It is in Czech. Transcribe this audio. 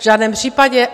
V žádném případě.